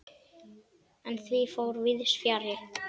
En því fór víðs fjarri.